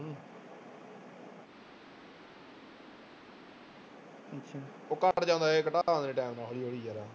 ਉਹ ਘੱਟ ਜਾਂਦਾ time ਨਾਲ ਹੌਲੀ ਹੌਲੀ ਯਾਰ।